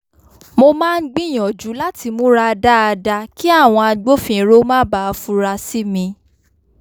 mo máa ń gbìyànjú láti múra dáadáa kí àwọn agbófinró má bàa fura sí mi